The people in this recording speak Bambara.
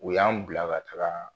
O y'an bila ka tagaa